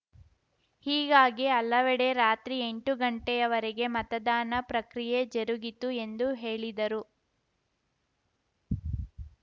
ಹೀಗಾಗಿ ಹಲವೆಡೆ ರಾತ್ರಿ ಎಂಟು ಗಂಟೆಯವರೆಗೆ ಮತದಾನ ಪ್ರಕ್ರಿಯೆ ಜರುಗಿತು ಎಂದು ಹೇಳಿದರು